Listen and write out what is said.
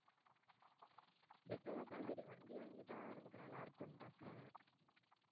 better அதான் சரி வண்டி வாங்கிட்டா நமக்கு நல்லா இருக்கும்னு பாக்குறேன்